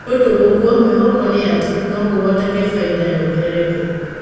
Nĩ ũndũwa ũguo, mwĩhoko nĩ atĩ, no kũhotekeke bainda yongerereke .